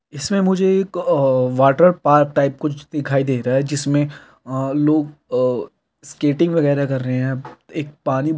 मुझे एक अऽऽ वाटर पार्क टाइप कुछ दिखा दे रहा है जिसमें अऽ लोग अऽ स्केटिंग वगैरा कर रहे है एक पानी भरा हैं।